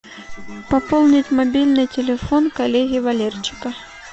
пополнить мобильный телефон коллеги валерчика